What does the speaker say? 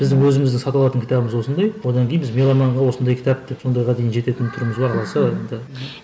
біздің өзіміздің сатып алатын кітабымыз осындай одан кейін біз меломанға осындай кітап деп сондайға дейін жететін түріміз бар алла қаласа енді